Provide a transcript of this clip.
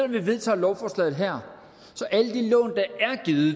vi vedtager lovforslaget her